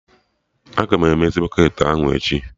Aga emezi bọketị ahụ echi?